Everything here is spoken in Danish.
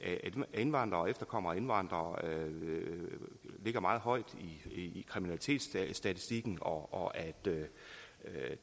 indvandrere og efterkommere af indvandrere ligger meget højt i kriminalitetsstatistikken og at